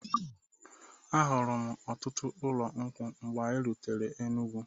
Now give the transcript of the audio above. Ahụrụm ọtụtụ ụlọ nkwụ mgbe anyị rutere Enugwu.